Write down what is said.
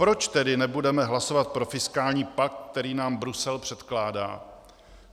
Proč tedy nebudeme hlasovat pro fiskální pakt, který nám Brusel předkládá?